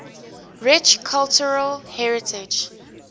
rich cultural heritage